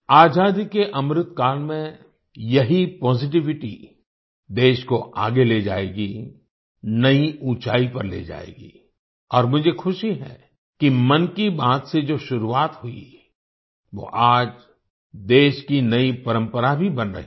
आज़ादी के अमृतकाल में यही पॉजिटिविटी देश को आगे ले जाएगी नई ऊंचाई पर ले जाएगी और मुझे खुशी है कि मन की बात से जो शुरुआत हुई वो आज देश की नई परंपरा भी बन रही है